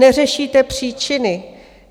Neřešíte příčiny.